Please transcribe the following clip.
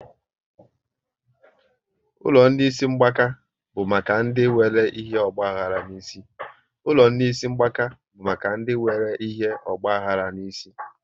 Ụlọ ndị isi mgbaka bụ maka ndị nwéré ihe ogbahara n'isi